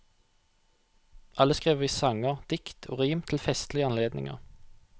Alle skriver vi sanger, dikt og rim til festlige anledninger.